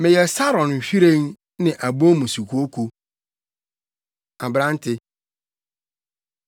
Meyɛ Saron nhwiren + 2.1 Yehu Saron nhwiren wɔ Karmel mpoano anafo fam. ne abon mu sukooko. Aberante: